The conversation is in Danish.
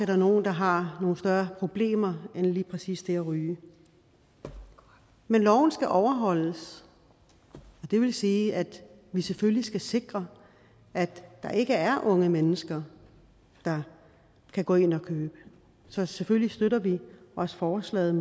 der nogle der har nogle større problemer end lige præcis det at ryge men loven skal overholdes og det vil sige at vi selvfølgelig skal sikre at der ikke er unge mennesker der kan gå ind og købe det så selvfølgelig støtter vi også forslaget